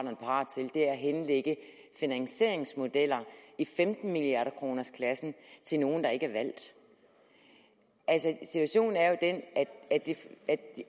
er parat til er at henlægge finansieringsmodeller i femten milliarder kroners klassen til nogle der ikke er valgt situationen er jo den